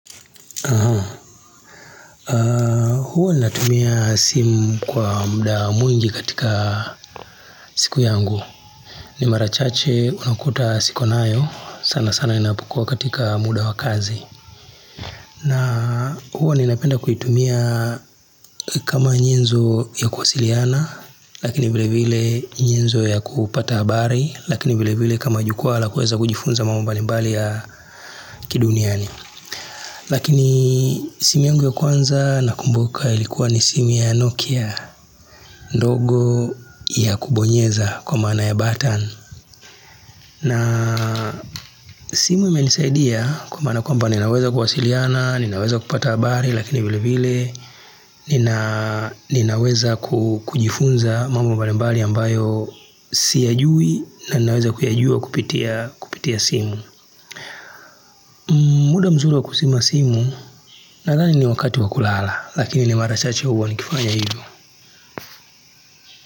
Huwa natumia simu kwa muda mwingi katika siku yangu ni mara chache unakuta siko nayo sana sana napokuwa katika muda wa kazi na huwa ninapenda kuitumia kama nyenzo ya kuwasiliana Lakini vile vile nyenzo ya kupata habari Lakini vile vile kama jukwa la kueza kujifunza mambo mbalimbali ya kiduniani Lakini simu yangu ya kwanza nakumbuka ilikuwa ni simu ya nokia ndogo ya kubonyeza kwa maana ya button na simu imenisaidia kwa maana kwamba ninaweza kuwasiliana, ninaweza kupata habari lakini vile vile nina Ninaweza kujifunza mambo mbalimbali ambayo siyajui na ninaweza kuyajua kupitia simu muda mzuri wa kuzima simu nadhani ni wakati wa kulala lakini ni mara chache huwa nikifanya hivo.